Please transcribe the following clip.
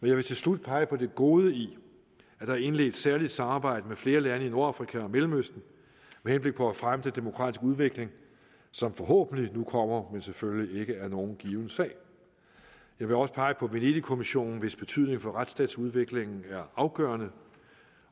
jeg vil til slut pege på det gode i at der er indledt et særligt samarbejde med flere lande i nordafrika og mellemøsten med henblik på at fremme den demokratiske udvikling som forhåbentlig nu kommer men selvfølgelig ikke er nogen given sag jeg vil også pege på venedigkommissionen hvis betydning for retsstatsudviklingen er afgørende